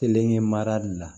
Kelen ye marali la